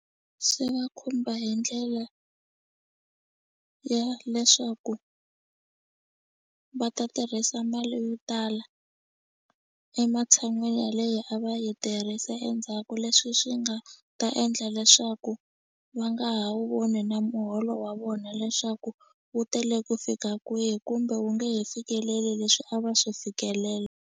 Swi va khumba hi ndlela ya leswaku va ta tirhisa mali yo tala ematshan'wini ya leyi a va yi tirhisa endzhaku leswi swi nga ta endla leswaku va nga ha wu voni na muholo wa vona leswaku wu tele ku fika kwihi kumbe wu nge he fikeleli leswi a va swi fikelela.